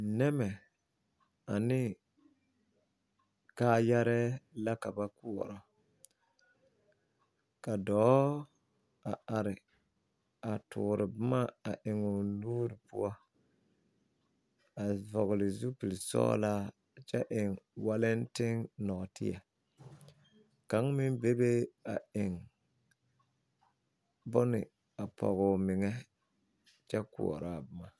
Nɛmɛ ane kaayɛrɛɛ la ka ba koɔrɔ ka dɔɔ a are a toore bomma a eŋoo nuure poɔ a vɔgle zupilsɔglaa kyɛ eŋ walɛnten nɔɔteɛ kaŋ meŋ bebe a eŋ bone a pɔgoo meŋɛ kyɛ koɔraa bomma.